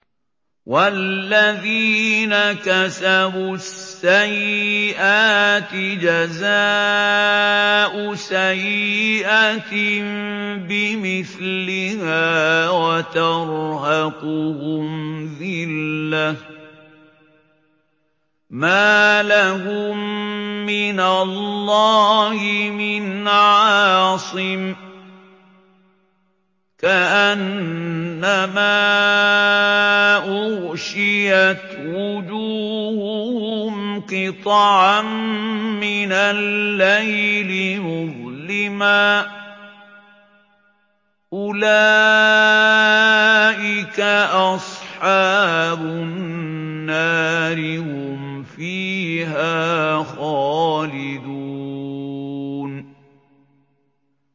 وَالَّذِينَ كَسَبُوا السَّيِّئَاتِ جَزَاءُ سَيِّئَةٍ بِمِثْلِهَا وَتَرْهَقُهُمْ ذِلَّةٌ ۖ مَّا لَهُم مِّنَ اللَّهِ مِنْ عَاصِمٍ ۖ كَأَنَّمَا أُغْشِيَتْ وُجُوهُهُمْ قِطَعًا مِّنَ اللَّيْلِ مُظْلِمًا ۚ أُولَٰئِكَ أَصْحَابُ النَّارِ ۖ هُمْ فِيهَا خَالِدُونَ